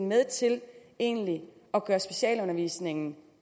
med til egentlig at gøre specialundervisningen